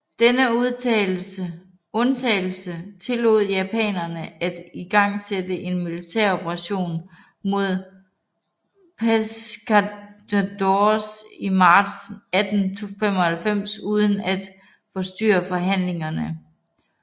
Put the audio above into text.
Denne undtagelse tillod japanerne at igangsætte en militær operation mod Pescadores i marts 1895 uden at forstyrre forhandlingerne